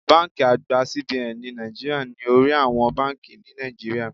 Báńkì àgbà CBN ní Naijiria ni orí àwọn báńkì ni Nàìjíríà.